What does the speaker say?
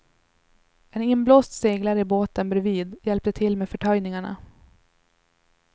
En inblåst seglare i båten bredvid hjälpte till med förtöjningarna.